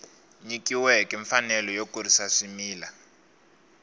nyikiweke mfanelo yo kurisa swimila